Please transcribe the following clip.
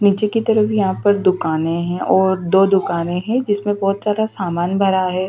नीचे की तरफ यहाँ पर दुकानें हैं और दो दुकानें हैं जिसमें बहुत सारा सामान भरा है।